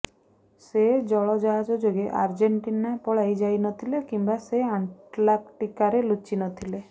ସେ ଜଳଜାହାଜ ଯୋଗେ ଆର୍ଜେଣ୍ଟିନା ପଳାଇ ଯାଇନଥିଲେ କିମ୍ବା ସେ ଆଣ୍ଟାର୍କଟିକାରେ ଲୁଚି ନଥିଲେ